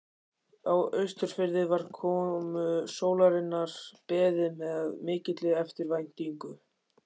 Á Austurfirði var komu sólarinnar beðið með mikilli eftirvæntingu.